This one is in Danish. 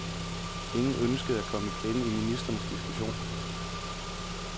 Ingen ønskede at komme i klemme i ministrenes diskussion.